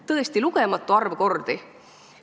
Tõesti, lugematu arv kordi.